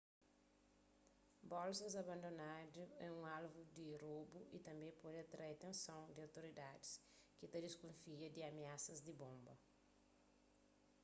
bolsas abandonadu é un alvu di robu y tanbê pode atrai atenson di outoridadis ki ta diskufia di amiasas di bonba